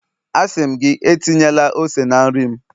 a si m gi, etinyela ose na nri m